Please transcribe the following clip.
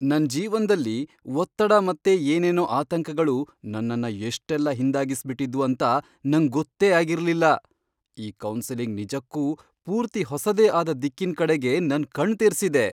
ನನ್ ಜೀವನ್ದಲ್ಲಿ ಒತ್ತಡ ಮತ್ತೆ ಏನೇನೋ ಆತಂಕಗಳು ನನ್ನನ್ನ ಎಷ್ಟೆಲ್ಲ ಹಿಂದಾಗ್ಸ್ಬಿಟ್ಟಿದ್ವು ಅಂತ ನಂಗ್ ಗೊತ್ತೇ ಆಗಿರ್ಲಿಲ್ಲ. ಈ ಕೌನ್ಸಿಲಿಂಗ್ ನಿಜಕ್ಕೂ ಪೂರ್ತಿ ಹೊಸದೇ ಆದ ದಿಕ್ಕಿನ್ ಕಡೆಗೆ ನನ್ ಕಣ್ ತೆರ್ಸಿದೆ!